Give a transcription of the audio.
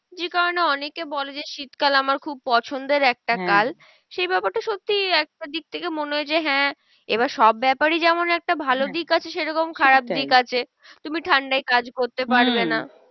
যে কারণে অনেকে বলে যে, শীত কাল আমার খুব পছন্দের একটা কাল। সেই ব্যাপারটা সত্যি একটা দিক থেকে মনে হয় যে হ্যাঁ, এবার সব ব্যাপারই যেমন একটা ভালো দিক আছে, সেরকম খারাপ দিক আছে। তুমি ঠান্ডায় কাজ পারবে না।